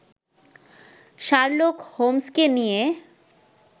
Sherlock হোমসকে নিয়ে